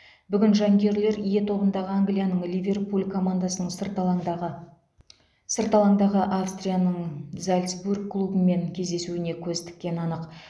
бүгін жанкүйерлер е тобындағы англияның ливерпуль командасының сырт алаңдағы сырт алаңдағы австрияның зальцбург клубымен кездесуіне көз тіккені анық